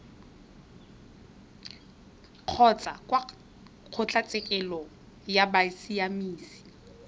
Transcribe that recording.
kgotsa kwa kgotlatshekelo ya bosiamisi